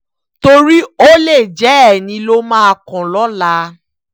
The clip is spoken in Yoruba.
torí ó lè jẹ́ ẹyin ló máa kàn lọ́laa